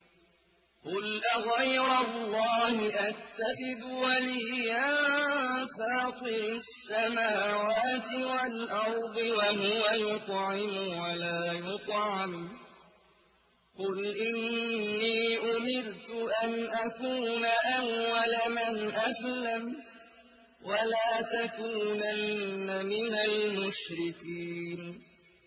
قُلْ أَغَيْرَ اللَّهِ أَتَّخِذُ وَلِيًّا فَاطِرِ السَّمَاوَاتِ وَالْأَرْضِ وَهُوَ يُطْعِمُ وَلَا يُطْعَمُ ۗ قُلْ إِنِّي أُمِرْتُ أَنْ أَكُونَ أَوَّلَ مَنْ أَسْلَمَ ۖ وَلَا تَكُونَنَّ مِنَ الْمُشْرِكِينَ